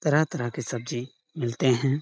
तरह-तरह के सब्जी मिलते है।